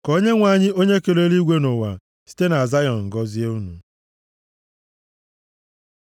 Ka Onyenwe anyị, onye kere eluigwe na ụwa site na Zayọn gọzie unu.